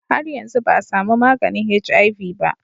Har yanzu ba a samu maganin HIV ba